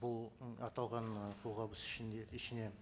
бұл ы аталған қолғабыс ішінде ішіне